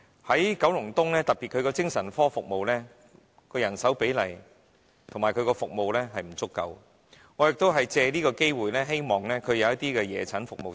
在九龍東，特別精神科服務的人手比例和服務並不足夠，我亦藉此機會，希望它能提供夜診服務。